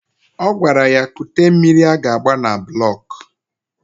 Ọ gwara ya kute mmiri a ga-agba na bụlọk